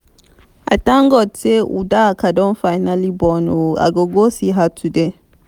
i thank god say udoka don finally born. i go go see her today